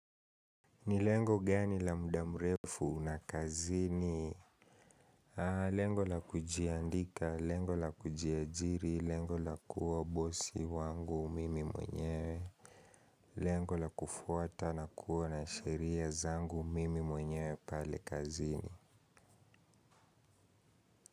Ni lengo gani la muda mrefu na kazini? Lengo la kujiandika, lengo la kujiajiri, lengo la kuwa bosi wangu mimi mwenye, lengo la kufuata na kuwa na sheria zangu mimi mwenye pale kazini.